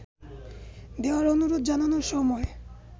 দেওয়ার অনুরোধ জানানোর সময়